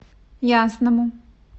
ясному